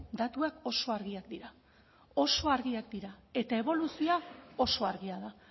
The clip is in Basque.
datuak oso argiak dira oso argiak dira eta eboluzioa oso argia da